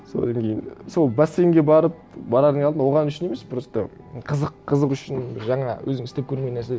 содан кейін сол бассейнге барып барардың алдында оған үшін емес просто қызық қызық үшін жаңа өзің істеп көрмеген нәрсе